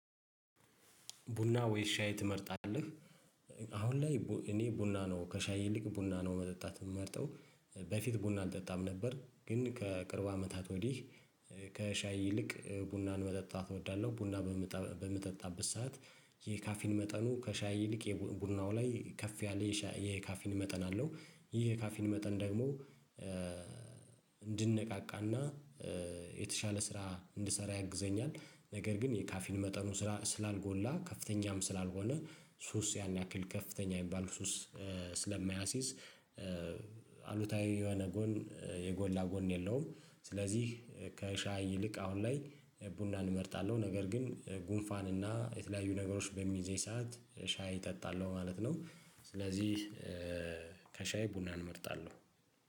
ቡና ወይ ሻይ ትመርጣለህ አሁን ላይ እኔ ቡና ነው ከሻይ ይልቅ ቡና ነው መጠጣት ምመርጠው በፊት ቡና አልጠጣም ነበር ግን ከቅርብ አመታት ወዲህ ከሻይ ይልቅ ቡናን መጠጣት እወዳለሁ ቡና በምጠ በምጠጣበት ሰዓት የካፊን መጠኑ ከሻይ ይልቅ የቡ ቡናው ላይ ከፍ ያለ የሻይ የካፊን መጠን አለው ይሄ የካፊን መጠን ደግሞ እንድነቃቃና የተሻለ ስራ እንድሰራ ያግዘኛል ነገር ግን የካፊን መጠኑ ስራ ስላልጎላ ከፍተኛም ስላልሆነ ሱስ ያን ያክል ከፍተኛ ሚባል ሱስ ስለማያሲዝ የሆነ ጎን የጎላ ጎን የለውም ስለዚህ ከሻይ ይልቅ አሁን ላይ ቡናን እመርጣለሁ ነገር ግን ጉንፋን እና የተለያዩ ነገሮች በሚይዘኝ ሰዓት ሻይ እጠጣለሁ ማለት ነው ስለዚህ ከሻይ ቡናን እመርጣለሁ።